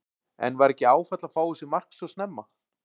En var ekki áfall að fá á sig mark svo snemma?